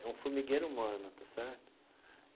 É um formigueiro humano, está certo?